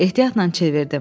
Ehtiyatla çevirdim.